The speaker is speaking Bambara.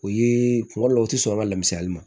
O ye kuma dɔ la o tɛ sɔn an ka lamisaali ma